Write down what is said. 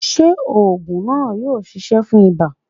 Ṣé ògùn náà yóò ṣiṣẹ́ fún ibà?